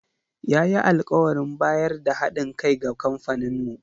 Ya yi alkawarin bayar da ha ɗin kai ga kamfaninmu.